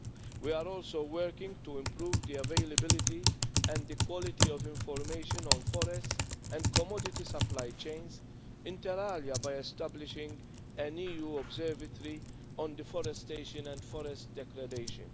We are also working to improve the availability and the quality of information on forests and commodity supply chains, inter alia, by establishing an EU observatory on deforestation and forest degradation.